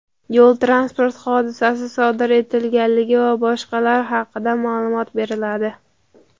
yo‘l transport hodisasi sodir etilganligi va boshqalar haqida ma’lumot beriladi.